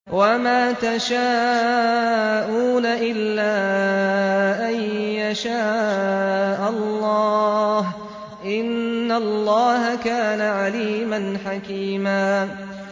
وَمَا تَشَاءُونَ إِلَّا أَن يَشَاءَ اللَّهُ ۚ إِنَّ اللَّهَ كَانَ عَلِيمًا حَكِيمًا